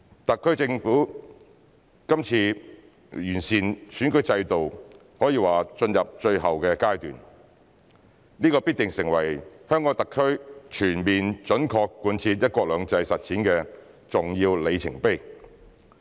特區政府今次完善選舉制度可說是進入最後階段，這必成為香港特區全面準確貫徹"一國兩制"實踐的重要里程碑。